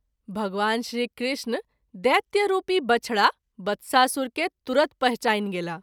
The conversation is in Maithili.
भगवान श्री कृष्ण दैत्य रूपी बछड़ा (बत्सासुर) के तुरत पहचानि गेलाह।